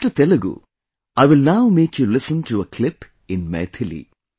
After Telugu, I will now make you listen to a clip in Maithili